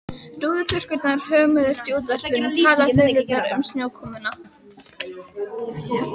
Rúðuþurrkurnar hömuðust, í útvarpinu talaði þulurinn um snjókomuna.